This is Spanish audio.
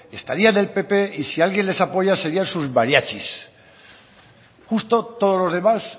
estaría en el pp y si alguien les apoya serían sus mariachis justo todos los demás